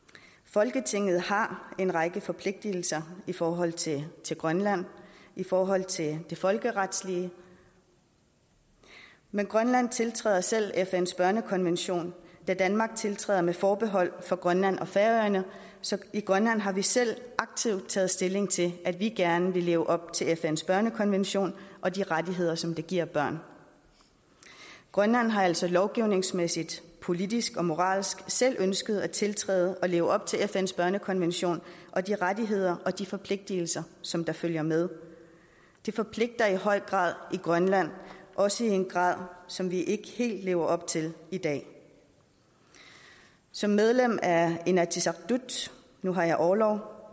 folketinget har en række forpligtelser i forhold til til grønland i forhold til det folkeretslige men grønland tiltræder selv fns børnekonvention da danmark tiltræder med forbehold for grønland og færøerne så i grønland har vi selv aktivt taget stilling til at vi gerne vil leve op til fns børnekonvention og de rettigheder som den giver børn grønland har altså lovgivningsmæssigt politisk og moralsk selv ønsket at tiltræde og leve op til fns børnekonvention og de rettigheder og de forpligtelser som der følger med det forpligter i høj grad i grønland også i en grad som vi ikke helt lever op til i dag som medlem af inatsisartut nu har jeg orlov